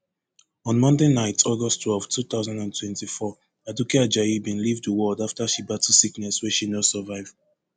on monday night august twelve two thousand and twenty-four aduke ajayi bin leave di world afta she battle sickness wey she no survive